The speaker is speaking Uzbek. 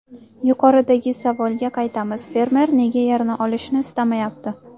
Yuqoridagi savolga qaytamiz: fermer nega yerni olishni istamayapti?